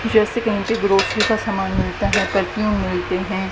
जैसे कि यहां पे ग्रॉसरी का सामान मिलता है परफ्यूम मिलते हैं।